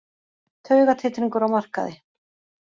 Taugatitringur á markaði